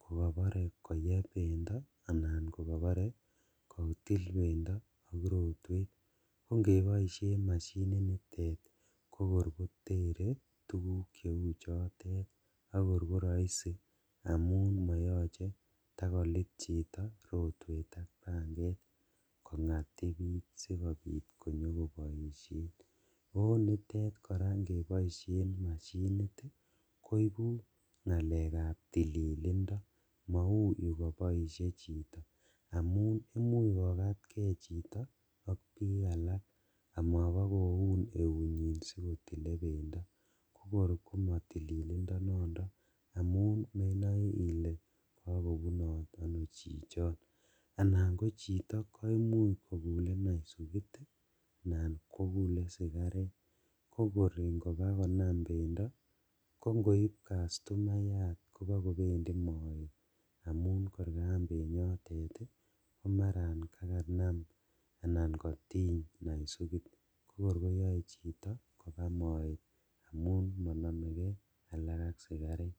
kokobore koyeb bendo anan kokobore kotil bendo ak rotwet, kongeboishen mashinitet ii kokor kotere tuguk cheu chotet akokor koroisi amun moyoche kotakolit chito rotwet kongatibit sikobit konyokoboishen onitet koraa ingeboishen mashinit iin koibu ngalekab tililindo mou yukoboishe chito, amun imuch kokatkee chito ok bik alak omobokoun eunyin sikotil bendo kokor komotililindo nondon amun menoe ile kokobunot ono chichoto alan kochito koimuch kokule naisugit anan kokule sikaret kokor ingobakonam bendo kongoib kastumayat kobokobendi moet amun kor kaam benyotet komaran kakanam anan kotiny naisugit kokor koyoe chito kobaa moet amun monomekee akak ak sikaret.